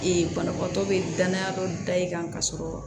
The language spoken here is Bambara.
banabaatɔ be danya dɔ da i kan ka sɔrɔ